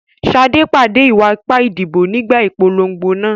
Sade pàdé ìwà ipá ìdìbò nígbà ìpolongo náà.